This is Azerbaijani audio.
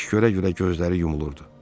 İş görə-görə gözləri yumulurdu.